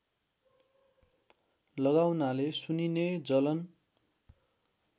लगाउनाले सुनिने जलन